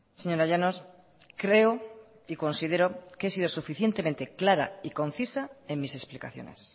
señora llanos creo y considero que he sido suficientemente clara y concisa en mis explicaciones